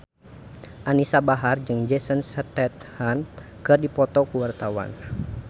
Anisa Bahar jeung Jason Statham keur dipoto ku wartawan